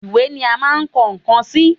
Ìwé ni à máa ń kọ nǹkan sí